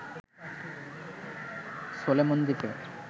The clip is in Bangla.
সোলেমন দ্বীপে